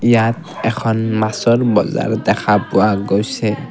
ইয়াত এখন মাছৰ বজাৰ দেখা পোৱা গৈছে।